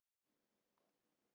þó geri þoku og él.